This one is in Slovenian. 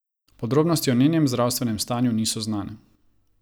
Podrobnosti o njenem zdravstvenem stanju niso znane.